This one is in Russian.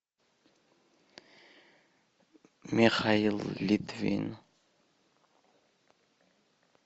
михаил литвин